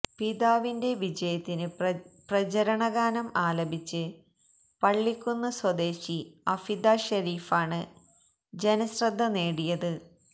പിതാവിന്റെ വിജയത്തിന് പ്രചരണഗാനം ആലപിച്ച് പള്ളിക്കുന്ന് സ്വദേശി അഫിദ ഷെരീഫാണ് ജനശ്രദ്ധ നേടിയത്